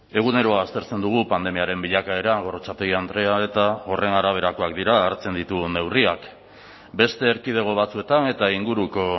egunero aztertzen dugu pandemiaren bilakaera gorrotxategi andrea eta horren araberakoak dira hartzen ditugun neurriak beste erkidego batzuetan eta inguruko